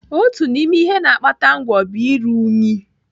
Otu n'ime ihe na-akpata ngwọ bụ iru unyi.